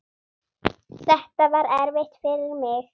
Þetta var erfitt fyrir mig.